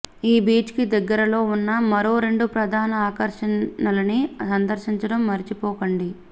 ఈ బీచ్ కి దగ్గరలో ఉన్న మరో రెండు ప్రధాన ఆకర్షణలని సందర్శించడం మరచిపోకండి